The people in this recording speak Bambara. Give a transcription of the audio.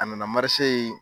A nana marise yen